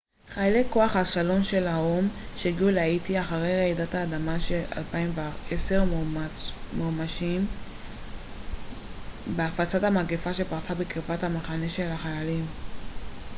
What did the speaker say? חיילי כוח השלום של האו ם שהגיעו להאיטי אחרי רעידת האדמה של 2010 מואשמים בהפצת המגפה שפרצה בקרבת המחנה של החיילים